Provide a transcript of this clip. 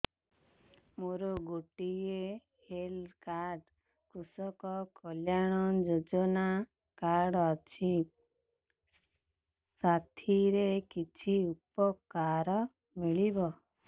ମୋର ଗୋଟିଏ health card କୃଷକ କଲ୍ୟାଣ ଯୋଜନା କାର୍ଡ ଅଛି ସାଥିରେ କି ଉପକାର ମିଳିବ